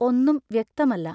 ഒന്നും വ്യക്തമല്ല.